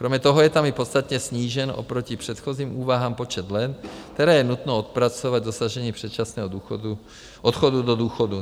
Kromě toho je tam i podstatně snížen oproti předchozím úvahám počet let, které je nutno odpracovat k dosažení předčasného odchodu do důchodu.